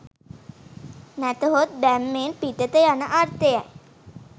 නැතහොත් බැම්මෙන් පිටත යන අර්ථය යි